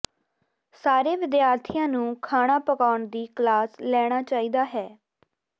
ਸਾਰੇ ਵਿਦਿਆਰਥੀਆਂ ਨੂੰ ਖਾਣਾ ਪਕਾਉਣ ਦੀ ਕਲਾਸ ਲੈਣਾ ਚਾਹੀਦਾ ਹੈ